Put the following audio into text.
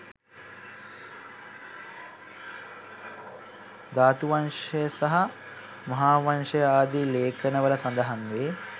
ධාතුවංශය සහ මහාවංශය ආදී ලේඛන වල සඳහන් වේ.